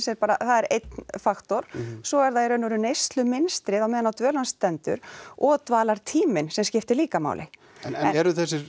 er bara einn faktor svo er það í rauninni neyslumynstrið á meðan á dvöl hans stendur og dvalartíminn sem skiptir líka máli en eru þessir